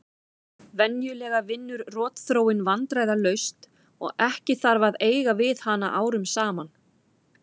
Venjulega vinnur rotþróin vandræðalaust og ekki þarf að eiga við hana árum saman.